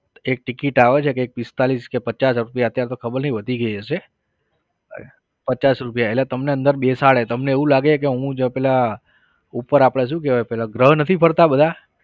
એક ticket આવે છે કે એક પિસ્તાલીસ કે પચાસ રુપિયા અત્યારે તો ખબર નહિ વધી ગયી હશે. પચાસ રૂપિયા એટલે તમને અંદર બેસાડે તમને એવું લાગે કે હું જ પેલા ઉપર આપણે શું કહેવાય અપને ગ્રહ નથી ફરતા બધા